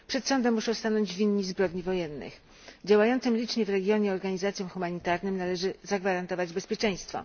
Przed sądem muszą stanąć winni zbrodni wojennych. Licznie działającym w regionie organizacjom humanitarnym należy zagwarantować bezpieczeństwo.